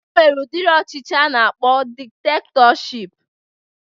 E nwere udiri ọchịchị a na-akpọ diktektọship